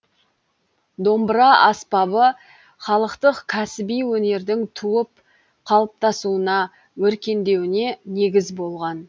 домбыра аспабы халықтық кәсіби өнердің туып қалыптасуына өркендеуіне негіз болған